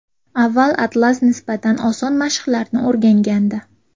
Avval Atlas nisbatan oson mashqlarni o‘rgangandi.